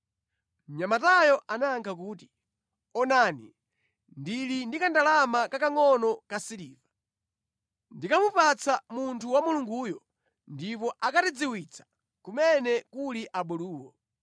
Mnyamatayo anayankha kuti, “Onani, ndili ndi kandalama kakangʼono ka siliva. Ndikamupatsa munthu wa Mulunguyo ndipo akatidziwitsa kumene kuli abuluwo.”